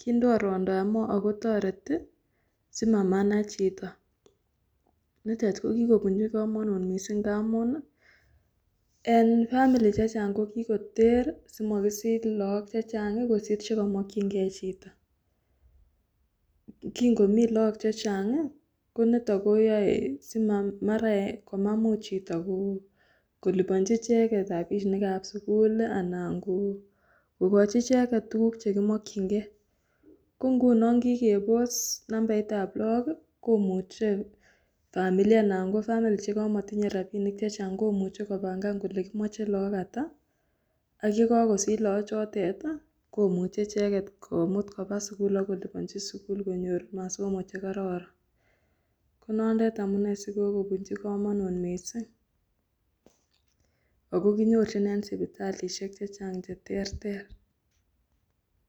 kindoo ruondab moo akotoreti simamanach chito, nitet kokikopunchi komonut mising ngamun en 'family'chechang kokikoter simokisich look chechang kosir chekomokyingee chito. Kingomii look chechang konito koyoe mar komamuch chito koliponchi icheket rapinikab sukul ana kokochi icheket tukuk chekimokyingee kongunon kikepos namnaitab look komuche familia anan ko family chekomokotinye rapinik chechang komuche kopangan kole kimoche look ata ak yekokosich loochotet komuche komut kopaa sikul akolipanchi sikul konyor masomo chekororon konotet amunee sikokokpunchi komonut mising ako kinyorchin en sipital chechang cheterter.